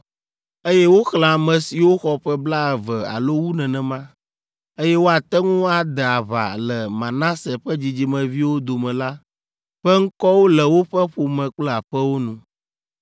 Eye woxlẽ ame siwo xɔ ƒe blaeve alo wu nenema, eye woate ŋu ade aʋa le Manase ƒe dzidzimeviwo dome la ƒe ŋkɔwo le woƒe ƒome kple aƒewo nu.